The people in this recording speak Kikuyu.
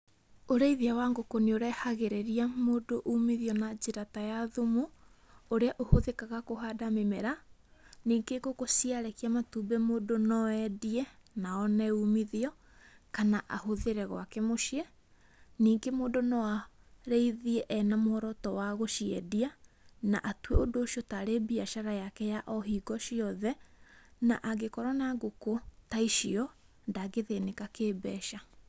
Ũrĩithia wa ngũkũ nĩ ũrehagĩrĩria mũndũ uumithio na njĩra ta ya thumu, ũrĩa ũhũthĩkaga kũhanda mĩmera, ningĩ ngũkũ ciarekia matumbĩ mũndũ no endie, na one uumithio, kana ahũthĩre gwake mũciĩ. Ningĩ mũndũ no arĩithie e na mũoroto wa gũciendia, na atue ũndũ ũcio tarĩ mbiacara yake ya o hingo ciothe, na angĩkorũo na ngũkũ ta icio, ndangĩthĩnĩka kĩ-mbeca.